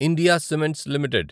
India Cements limited